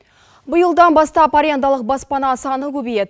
биылдап бастап арендалық баспана саны көбейеді